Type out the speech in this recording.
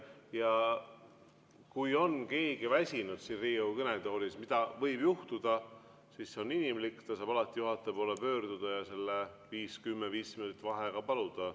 Ja kui on keegi väsinud siin Riigikogu kõnetoolis, mida võib juhtuda, see on inimlik, siis ta saab alati juhataja poole pöörduda ja 5, 10 või 15 minutit vaheaega paluda.